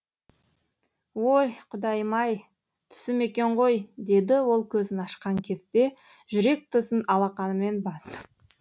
ой құдайым ай түсім екен ғой деді ол көзін ашқан кезде жүрек тұсын алақанымен басып